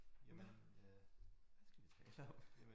Jamen øh hvad skal vi tale om?